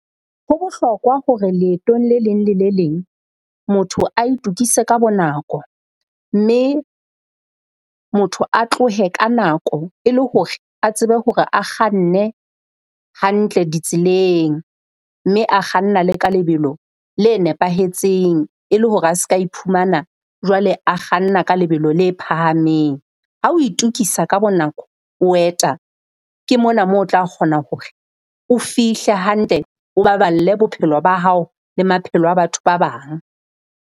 Ho bohlokwa hore leetong le leng le le leng motho a itokise ka bonako, mme motho a tlohe ka nako e le hore a tsebe hore a kganne hantle ditseleng. Mme a kganna le ka lebelo le nepahetseng e le hore a se ka iphumana jwale a kganna ka lebelo le phahameng. Ha o itokisa ka bonako o eta ke mona mo otla kgona hore o fihle hantle o baballe bophelo ba hao le maphelo a batho ba bang.